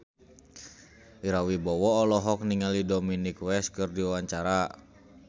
Ira Wibowo olohok ningali Dominic West keur diwawancara